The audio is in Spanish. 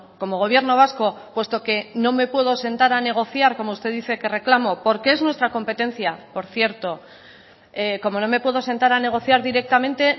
como gobierno vasco puesto que no me puedo sentar a negociar como usted dice que reclamo porque es nuestra competencia por cierto como no me puedo sentar a negociar directamente